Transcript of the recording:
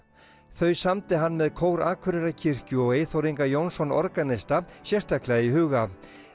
þau samdi hann með kór Akureyrarkirkju og Eyþór Inga Jónsson organista sérstaklega í huga